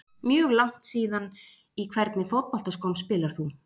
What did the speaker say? Mjög langt síðan Í hvernig fótboltaskóm spilar þú?